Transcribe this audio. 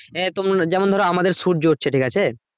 হ্যাঁ তম~ যেমন ধরো আমাদের সূর্য হচ্ছে ঠিক আছে